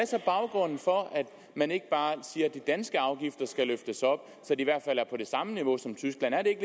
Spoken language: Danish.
så baggrunden for at man ikke bare siger at de danske afgifter skal løftes op så de i hvert fald er på det samme niveau som tysklands er det